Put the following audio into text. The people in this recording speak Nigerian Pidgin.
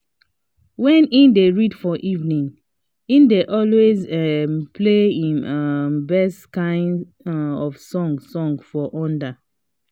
when he dey read for evening he dey always um play him um best kind um of song song for under